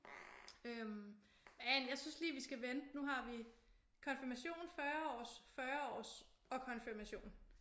Øh men jeg synes lige vi skal vente nu har vi konfirmation 40-års 40-års og konfirmation